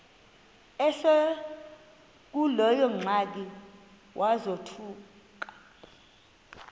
esekuleyo ingxaki wazothuka